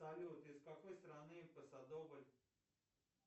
салют из какой страны посадобль